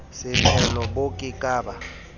setshelo bo ke ke ba